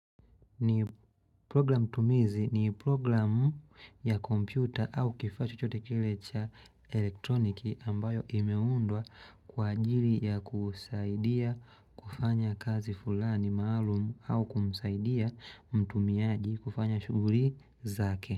Program tumizi ni program ya kompyuta au kifaa chochote kile cha elektroniki ambayo kimeundwa kwa ajili ya kusaidia kufanya kazi fulani maalumu au kumsaidia mtumiaji kufanya shughuli zake.